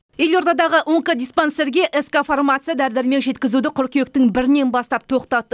елордадағы онкодиспансерге ск фармация дәрі дәрмек жеткізуді қыркүйектің бірінен бастап тоқтатты